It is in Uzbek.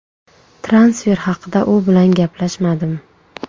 Transfer haqida u bilan gaplashmadim.